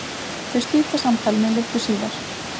Þau slíta samtalinu litlu síðar.